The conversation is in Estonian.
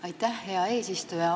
Aitäh, hea eesistuja!